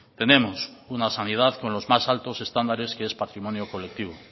tenemos una sanidad con los más altos estándares que es patrimonio colectivo